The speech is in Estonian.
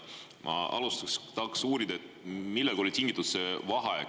Ma alustuseks tahaks uurida, millest oli tingitud see vaheaeg.